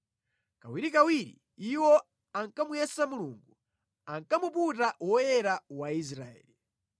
Kawirikawiri iwo ankamuyesa Mulungu; ankamuputa Woyera wa Israeli.